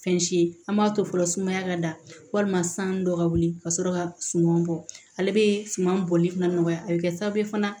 Fɛn si ye an b'a to fɔlɔ sumaya ka da walima san dɔ ka wuli ka sɔrɔ ka suma bɔ ale bɛ suman bɔli fana nɔgɔya a bɛ kɛ sababu ye fana